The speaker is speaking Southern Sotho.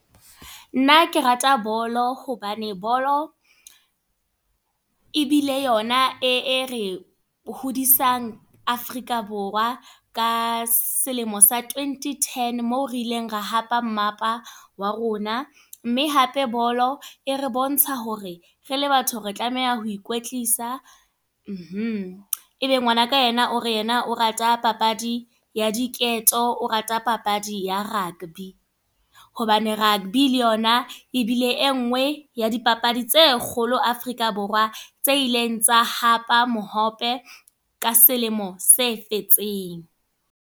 Nna ke rata bolo, hobane bolo ebile yona e re hodisang Afrika Borwa. Ka selemo sa twenty ten, mo re ileng ra hapa mmapa wa rona. Mme hape bolo e re bontsha hore re le batho re tlameha ho ikwetlisa. Ebe ngwana ka yena o re yena o rata papadi ya diketo, o rata papadi ya rugby. Hobane rugby le yona e bile e nngwe ya di papadi tse kgolo Afrika tse ileng tsa hapa mohope ka selemo se fetseng.